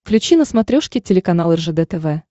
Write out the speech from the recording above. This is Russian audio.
включи на смотрешке телеканал ржд тв